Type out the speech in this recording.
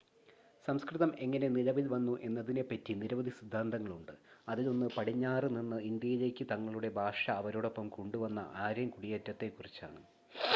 സംസ്‌കൃതം എങ്ങനെ നിലവിൽ വന്നു എന്നതിനെ പറ്റി നിരവധി സിദ്ധാന്തങ്ങൾ ഉണ്ട് അതിലൊന്ന് പടിഞ്ഞാറ് നിന്ന് ഇന്ത്യയിലേക്ക് തങ്ങളുടെ ഭാഷ അവരോടൊപ്പം കൊണ്ടുവന്ന ആര്യൻ കുടിയേറ്റത്തെ കുറിച്ചാണ്